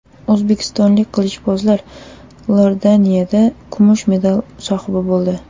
O‘zbekistonlik qilichbozlar Iordaniyada kumush medal sohibi bo‘ldi.